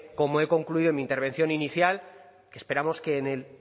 como he concluido en mi intervención inicial esperamos que en el